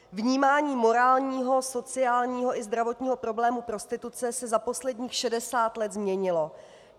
Vnímání morálního, sociálního i zdravotního problému prostituce se za posledních 60 let změnilo.